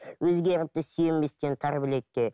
өзгеріпті сүйенбестен тар білекке